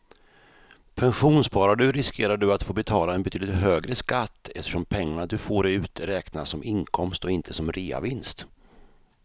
Pensionssparar du riskerar du att få betala en betydligt högre skatt eftersom pengarna du får ut räknas som inkomst och inte som reavinst.